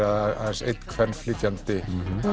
aðeins einn kvenflytjandi